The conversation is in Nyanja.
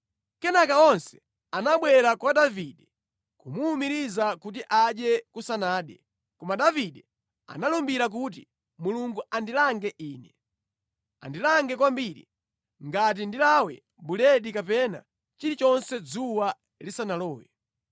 Kenaka onse anabwera kwa Davide kumuwumiriza kuti adye kusanade. Koma Davide analumbira kuti, “Mulungu andilange ine, andilange kwambiri, ngati ndilawe buledi kapena chilichonse dzuwa lisanalowe!”